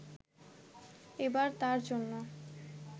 এবার তাঁর জন্য